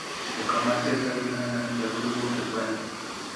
jakom mar sirikal biro neno ni jagowi wuok e gweng'e